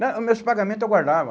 Não, os meus pagamento eu guardava.